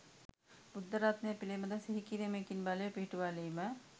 බුද්ධ රත්නය පිළිබඳ සිහි කිරීමකින් බලය පිහිටුවාලීම,